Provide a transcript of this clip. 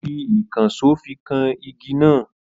Ó fi ìkànsó fi kan igi náà.